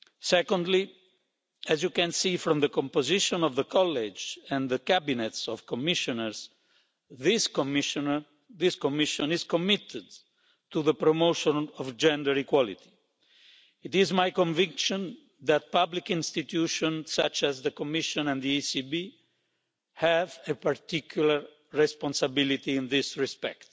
Secondly, as you can see from the composition of the College and the cabinets of Commissioners, this Commission is committed to the promotion of gender equality. It is my conviction that public institutions, such as the Commission and the ECB, have a particular responsibility in this respect.